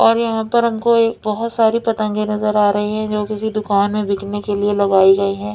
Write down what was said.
और यहाँ पर हमको ए बहोत सारी पतंगे नज़र आ रही हैं जो किसी दुकान में बिकने के लिए लगाई गयी हैं।